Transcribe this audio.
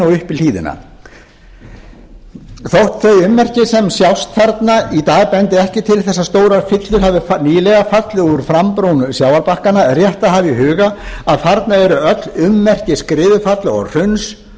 í hlíðina þótt þau ummerki sem sjást þarna í dag bendi ekki til þess að stórar fyllur hafi nýlega fallið úr frambrún sjávarbakkanna er rétt að hafa í hugað að þarna eru öll ummerki skriðufalla og hruns